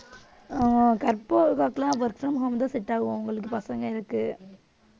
ஆஹ் கற்பகம் அக்காக்கு எல்லாம் work from home தான் set ஆகும் அவங்களுக்கு பசங்க இருக்கு